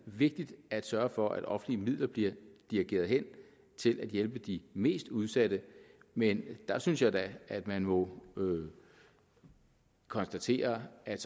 vigtigt at sørge for at offentlige midler bliver dirigeret hen til at hjælpe de mest udsatte men jeg synes da at man må konstatere at